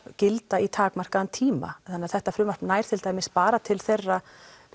gilda í takmarkaðan tíma þannig að þetta frumvarp nær bara til þeirra